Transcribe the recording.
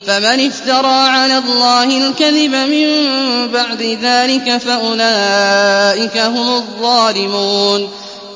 فَمَنِ افْتَرَىٰ عَلَى اللَّهِ الْكَذِبَ مِن بَعْدِ ذَٰلِكَ فَأُولَٰئِكَ هُمُ الظَّالِمُونَ